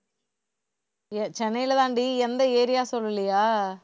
சென்னையிலதாண்டி, எந்த area சொல்லலியா?